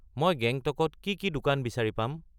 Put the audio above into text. মই গেংটকত কি কি দোকান বিচাৰি পাম